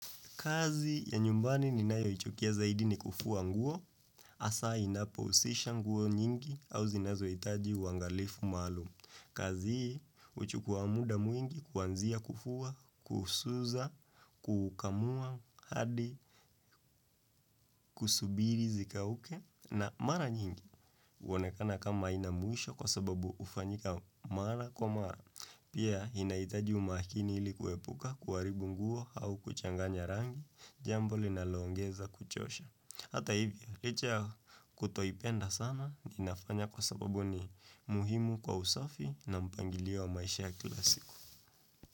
Kazi ya nyumbani ninayoichukia zaidi ni kufua nguo, hasa inapohusisha nguo nyingi au zinazohitaji uangalifu maalum. Kazi hii huchukua muda mwingi kuanzia kufuwa, kusuza, kukamua, hadi, kusubiri zikauke na mara nyingi. Huonekana kama haina mwisho kwa sababu hufanyika mara kwa mara Pia inahitaji umakini ilikuepuka kuharibu nguo au kuchanganya rangi Jambo linaloongeza kuchosha Hata hivyo, licha kutoipenda sana inafanya kwa sababu ni muhimu kwa usafi na mpangilio wa maisha ya kila siku.